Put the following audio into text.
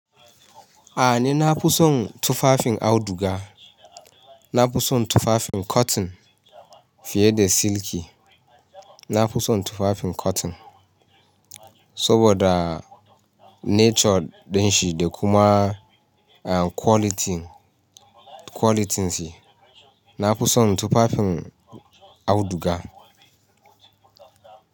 A ne, na fi son tufafin auduga. Na fi son tufafin cotton fiye da silky. Na fi son tufafin cotton saboda nature din shi da kuma quality, qualityn shi. Na fi son tufafin auduga.